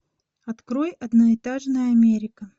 открой одноэтажная америка